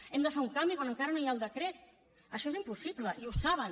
hem de fer un canvi quan encara no hi ha el decret això és impossible i ho saben